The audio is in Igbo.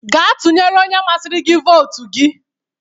Gaa tụnyere onye masiri gi votu gi!